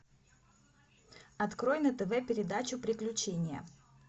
открой на тв передачу приключения